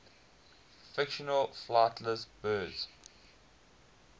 fictional flightless birds